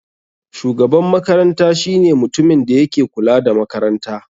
Shugaban makaranta shine mutumin da yake kula da makaranta.